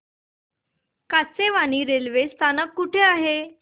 Kachewani railway स्थानक कुठे आहे